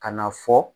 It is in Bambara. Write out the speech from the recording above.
Ka na fɔ